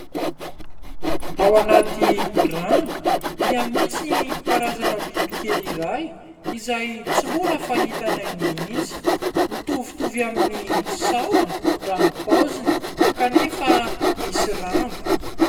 Ao anaty rano dia misy karazana bibikely iray izay tsy mbola fahitanay mihitsy, mitovitovy amin'ny sahona raha ny paoziny kanefa misy rambo.